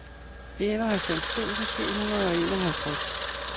enoghalvfems tusind syv hundrede og enoghalvtreds